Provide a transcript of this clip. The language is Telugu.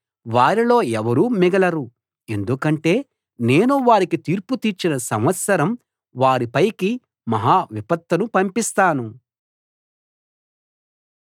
వారిలో ఎవరూ మిగలరు ఎందుకంటే నేను వారికి తీర్పు తీర్చిన సంవత్సరం వారి పైకి మహా విపత్తును పంపిస్తాను